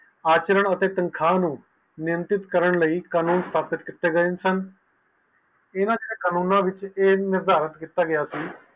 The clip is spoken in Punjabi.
ਆਚਰਣ ਅਤੇ ਤੰਖਾ ਨੂੰ ਨੇਟਿਟ ਕਰਨ ਲਈ ਪਾਸਿਡ ਕੀਤੇ ਗਏ ਸਨ ਤੇਰਾਸੋ ਕਾਨੂੰਨ ਵਿਚ ਇਹ ਨਿਰਧਾਰਤ ਕੀਤਾ ਗਿਆ ਸੀ